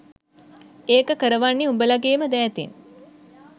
ඒක කරවන්නෙ උඹලගේම දැතෙන්